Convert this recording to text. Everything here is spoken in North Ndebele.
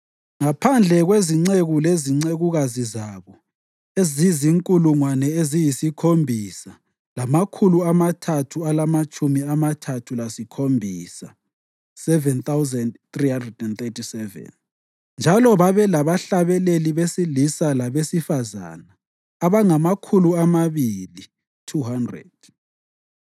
ngaphandle kwezinceku lezincekukazi zabo ezizinkulungwane eziyisikhombisa lamakhulu amathathu alamatshumi amathathu lasikhombisa (7,337); njalo babe labahlabeleli besilisa labesifazane abangamakhulu amabili (200).